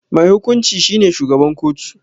Mai hukunci shi ne shugaban kotu.